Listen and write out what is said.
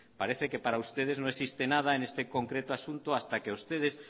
parece que para ustedes no existe nada en este concreto asunto hasta que a ustedes